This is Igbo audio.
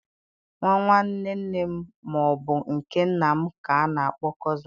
Nwa nwanne nne m ma ọ bụ nke nna m ka a na-akpọ Cozịn